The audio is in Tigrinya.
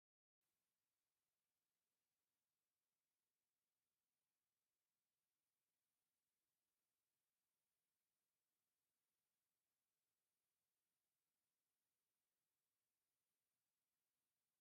ናይ ማንጎ ፈልሲታት ዝዳለወሉ ቦታ እዩ፡፡ ሰባት ዝኾነ ዓይነት ተኽሊ ክተኽሉ ይኽእሉ እዮም፡፡ ኣነ ግን ከም ማንጐ ዝኣምሰለ ተኽሊ እንተዝተኽሉ እየ ዝመርፅ፡፡